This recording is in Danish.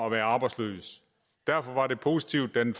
at være arbejdsløs derfor var det positivt da den